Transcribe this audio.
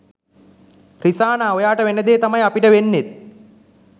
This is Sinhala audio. රිසානා ඔයාට වෙන දේ තමයි අපිට වෙන්නෙත්.